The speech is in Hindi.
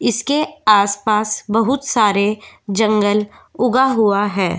इसके आसपास बहुत सारे जंगल उगा हुआ है ।